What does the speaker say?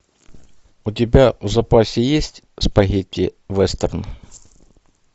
у тебя в запасе есть спагетти вестерн